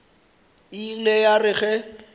e ile ya re ge